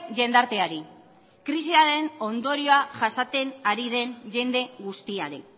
jendarteari krisiaren ondorioa jasaten ari den jende guztiari